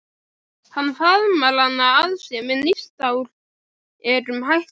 Hann faðmar hana að sér með nýstárlegum hætti.